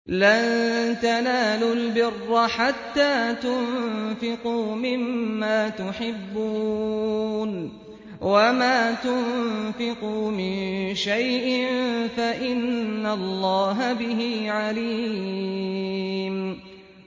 لَن تَنَالُوا الْبِرَّ حَتَّىٰ تُنفِقُوا مِمَّا تُحِبُّونَ ۚ وَمَا تُنفِقُوا مِن شَيْءٍ فَإِنَّ اللَّهَ بِهِ عَلِيمٌ